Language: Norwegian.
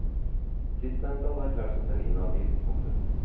Sistnevnte hadde erklært seg selv inhabil. punktum